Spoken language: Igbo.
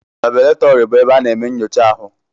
Laboratori bụ ebe a na-eme nyocha ahụ.